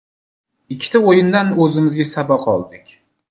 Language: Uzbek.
Ikkita o‘yindan o‘zimizga saboq oldik.